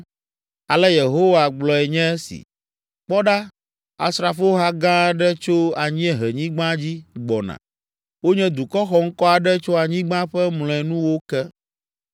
Ale Yehowa gblɔe nye si, “Kpɔ ɖa asrafoha gã aɖe tso anyiehenyigba dzi gbɔna. Wonye dukɔ xɔŋkɔ aɖe tso anyigba ƒe mlɔenuwo ke.